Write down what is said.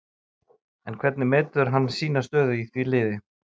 En hvernig metur hann sína stöðu í því liði?